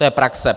To je praxe.